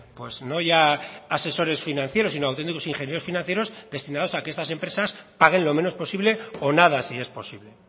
pues no ya asesores financieros sino auténticos ingenieros financieros destinados a que estas empresas paguen lo menos posible o nada si es posible